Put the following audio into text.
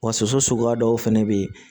Wa soso suguya dɔw fana bɛ yen